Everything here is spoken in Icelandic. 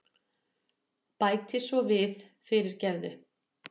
Bæti svo við, fyrirgefðu.